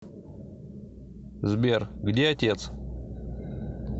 сбер где отец